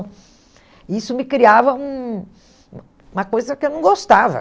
E isso me criava um uma coisa que eu não gostava.